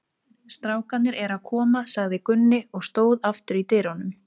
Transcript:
Strákarnir eru að koma, sagði Gunni og stóð aftur í dyrunum.